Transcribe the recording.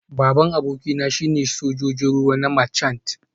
Babban abokina shine Sojojin ruwa na Marchant